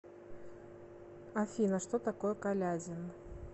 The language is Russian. афина что такое калязин